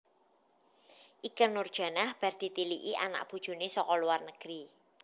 Ikke Nurjanah bar ditiliki anak bojone saka luar negeri